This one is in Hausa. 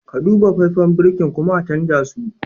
Ka Duba faifen birkin kuma a canza su.